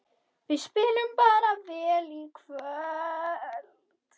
Við spiluðum bara vel í kvöld